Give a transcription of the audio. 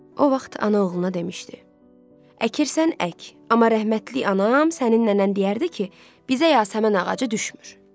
O vaxt ana oğluna demişdi: "Əkirsən ək, amma rəhmətlik anam sənin nənən deyərdi ki, bizə yasəmən ağacı düşmür."